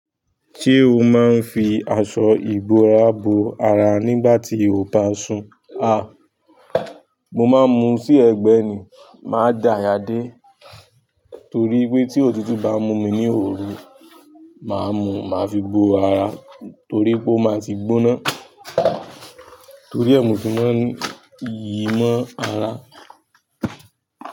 Ṣé o máa ń fi aṣọ ìbora bo ara nígbà tí o bá sùn? A! Mo máa ń mu sí ẹ̀gbẹ́ ni, máa dà ààyà dé torí pé tí òtútù bá mú mi ní òru, màá mú, màá fi bo ara torí pé ó máa ti gbóná torí ẹ mo ṣi máa ń yí mó ara.